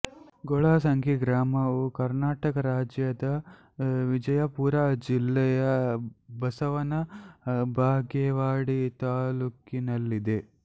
ಗೊಳಸಂಗಿ ಗ್ರಾಮವು ಕರ್ನಾಟಕ ರಾಜ್ಯದ ವಿಜಯಪುರ ಜಿಲ್ಲೆಯ ಬಸವನ ಬಾಗೇವಾಡಿ ತಾಲ್ಲೂಕಿನಲ್ಲಿದೆ